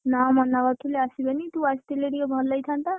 ନା ମନା କରୁଥିଲେ ଆସିବେନି, ତୁ ଆସିଥିଲେ ଟିକେ ଭଲ ହେଇଥାନ୍ତା।